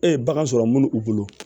E ye bagan sɔrɔ minnu u bolo